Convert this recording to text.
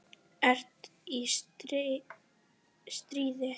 ERT Í STREÐI.